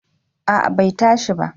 A'a bai tashi ba